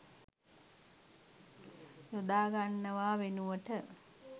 යොදාගන්නවා වෙනුවට